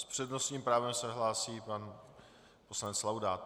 S přednostním právem se hlásí pan poslanec Laudát.